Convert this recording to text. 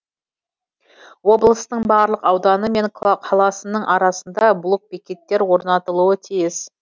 облыстың барлық ауданы мен қаласының арасында блокбекеттер орнатылуы тиіс